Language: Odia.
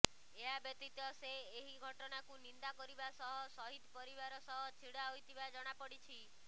ଏହାବ୍ୟତୀତ ସେ ଏହି ଘଟଣାକୁ ନିନ୍ଦା କରିବା ସହ ସହିଦ ପରିବାର ସହ ଛିଡା ହୋଇଥିବା ଜଣାପଡିଛି